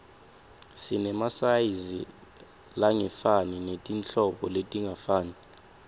sinemasayizi langefani netinhlobo letingafani